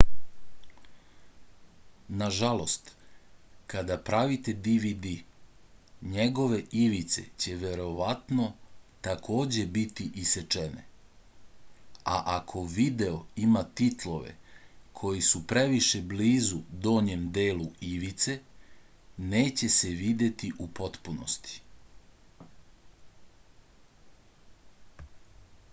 nažalost kada pravite dvd njegove ivice će verovatno takođe biti isečene a ako video ima titlove koji su previše blizu donjem delu ivice neće se videti u potpunosti